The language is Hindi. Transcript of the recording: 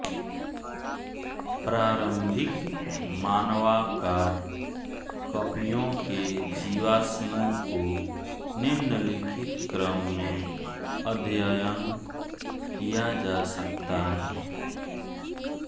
प्रारंभिक मानवाकार कपियों के जीवाश्मों को निम्नलिखित क्रम में अध्ययन किया जा सकता है